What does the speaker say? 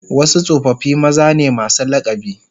Wasu tsofaffi maza ne masu lakabi